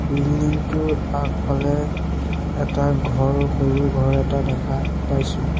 Building টোৰ আগফালে এটা ঘৰ সৰু ঘৰ এটা দেখা পাইছোঁ।